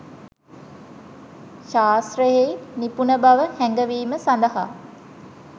ශාස්ත්‍රයෙහි නිපුණබව හැඟවීම සඳහා